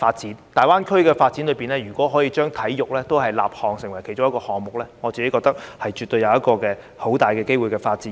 如果大灣區的發展，可以把體育立項成為一個項目，我認為絕對有很大的發展機會。